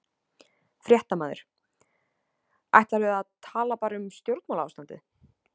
Fréttamaður: Ætlarðu að tala bara um stjórnmálaástandið?